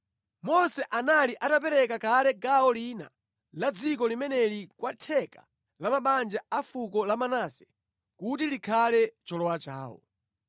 Mose anali atapereka kale gawo lina la dziko limeneli kwa theka la mabanja a fuko la Manase kuti likhale cholowa chawo.